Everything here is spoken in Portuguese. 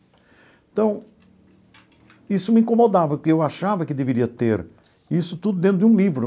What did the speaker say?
Então, isso me incomodava, porque eu achava que deveria ter isso tudo dentro de um livro.